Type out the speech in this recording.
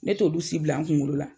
Ne t'olu si bila n kunkolo la